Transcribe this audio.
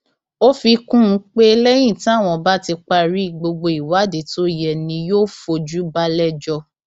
ó fi kún un pé lẹyìn táwọn bá ti parí gbogbo ìwádìí tó yẹ ni yóò fojú balẹẹjọ